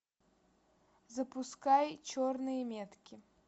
запускай черные метки